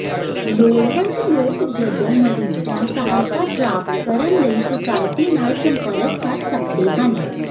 ਲੋੜਵੰਦ ਲੋਕ ਜਦੋਂ ਮਰੀਜ਼ਾਂ ਸਹਾਇਤਾ ਪ੍ਰਾਪਤ ਕਰਨ ਲਈ ਸੁਸਾਇਟੀ ਨਾਲ ਸੰਪਰਕ ਕਰ ਸਕਦੇ ਹਨ